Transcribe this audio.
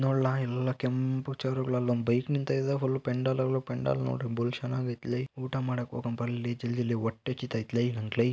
ನೋಡ್ಲಾ ಇಲ್ಲಿ ಎಲ್ಲಾ ಕೆಂಪು ಚೇರ್ಗಳ ಮಧ್ಯ ಒಂದು ಬೈಕ್ ನಿಂತಿದೆ ಪೆಂಡಲ್ಗಳು ಪೆಂಡಲ್ಗಳು ನೋಡಿದರೆ ಬಲು ಚಂದಾಗೈತೆ ಊಟ ಮಾಡಕ್ ಹೋಗನ್ ಬರ್ಲೇ ಜಲ್ದಿ ಹೊಟ್ಟೆ ಹಸಿತಾ ಇದ್ರಿ ನಂಗೆ.